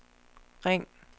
ring